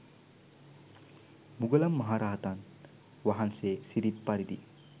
මුගලන් මහ රහතන් වහන්සේ සිරිත් පරිදි